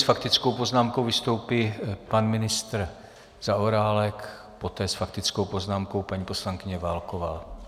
S faktickou poznámkou vystoupí pan ministr Zaorálek, poté s faktickou poznámkou paní poslankyně Válková.